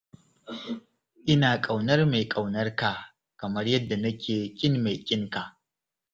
Ina ƙaunar mai ƙaunar ka kamar yadda nake ƙin mai ƙin ka.